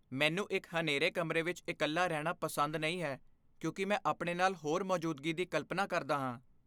ਮੈਨੂੰ ਇੱਕ ਹਨੇਰੇ ਕਮਰੇ ਵਿੱਚ ਇਕੱਲਾ ਰਹਿਣਾ ਪਸੰਦ ਨਹੀਂ ਹੈ ਕਿਉਂਕਿ ਮੈਂ ਆਪਣੇ ਨਾਲ ਹੋਰ ਮੌਜੂਦਗੀ ਦੀ ਕਲਪਨਾ ਕਰਦਾ ਹਾਂ।